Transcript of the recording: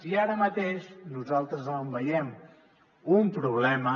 i ara mateix nosaltres veiem un problema